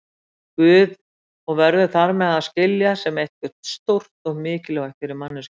Guði og verður þar með að skilja sem eitthvað stórt og mikilvægt fyrir manneskjuna.